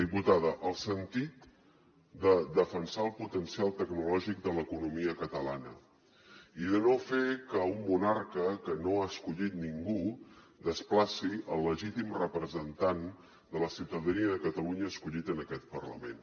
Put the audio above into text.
diputada el sentit de defensar el potencial tecnològic de l’economia catalana i de no fer que un monarca que no ha escollit ningú desplaci el legítim representant de la ciutadania de catalunya escollit en aquest parlament